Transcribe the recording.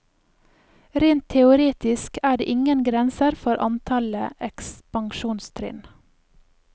Rent teoretisk er det ingen grenser for antallet ekspansjonstrinn.